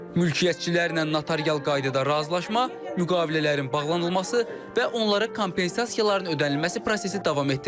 Mülkiyyətçilərlə notarial qaydada razılaşma, müqavilələrin bağlanılması və onlara kompensasiyaların ödənilməsi prosesi davam etdirilir.